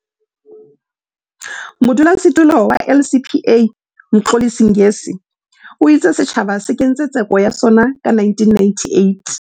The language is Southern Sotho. Modulasetulo wa LCPA, Mxolisi Ngesi, o itse setjhaba se kentse tseko ya sona ka 1998.